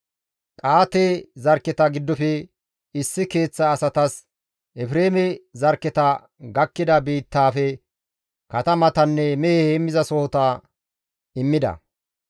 Qa7aate zarkketa giddofe issi keeththa asatas Efreeme zarkketa gakkida biittaafe katamatanne mehe heemmizasoho immida.